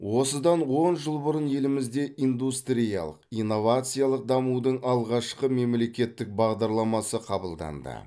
осыдан он жыл бұрын елімізде индустриялық инновациялық дамудың алғашқы мемлекеттік бағдарламасы қабылданды